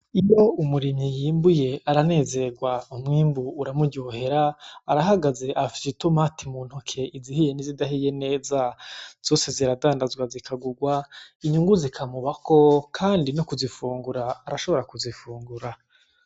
Iyo umurimyi yimbuye aranezerwa umwimbu uramuryohera, arahagaze afise itomati mu ntoke izihiye n'izidahiye neza, zose ziradandazwa zikagurwa inyungu zikamubako kandi no kuzifungura arashobora no kuzifungura.